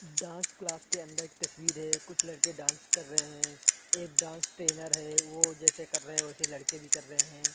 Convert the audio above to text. Dance class के अंदर के तस्वीर है कुछ लड़के डांस कर रहे है एक डांस ट्रेनर है वो जैसे कर रहे है वैसे लड़के भी कर रहे है।